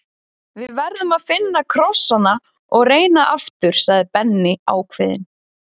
Við verðum að finna krossana og reyna aftur sagði Benni ákveðinn.